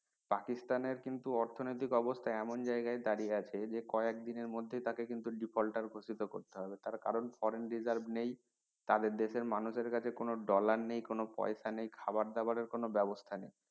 পাকিস্তানের কিন্তু অর্থনৈতিক অবস্থা এমন জায়গায় দাঁড়িয়ে আছে যে কয়েকদিনের মধ্যেই তাকে কিন্তু defaulter ঘোষিত করতে হবে তার কারন foreign reserve নেই তাদের দেশের মানুষের কাছে কোনো dollar নেই কোনো পয়সা নেই খাওয়ার দাওয়ারের কোনো ব্যাবস্থা নেই